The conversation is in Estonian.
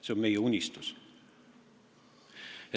See on meie unistus.